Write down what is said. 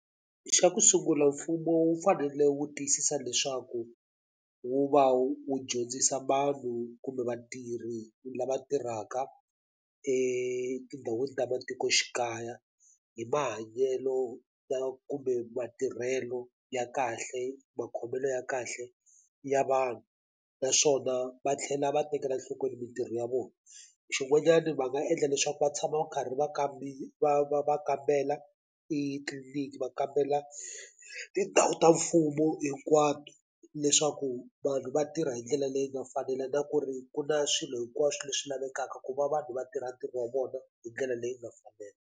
Xa ku sungula mfumo wu fanele wu tiyisisa leswaku wu va wu wu dyondzisa vanhu kumbe vatirhi lava tirhaka etindhawini ta matikoxikaya hi mahanyelo lawa kumbe matirhelo ya kahle makhomelo ya kahle ya vanhu naswona va tlhela va tekela nhlokweni mitirho ya vona xin'wanyana va nga endla leswaku va tshama va karhi va va va va kambela tliliniki va kambela tindhawu ta mfumo hinkwato leswaku vanhu va tirha hindlela leyi nga fanela na ku ri ku na swilo hinkwaswo leswi lavekaka ku va vanhu va tirha ntirho wa vona hi ndlela leyi nga fanela.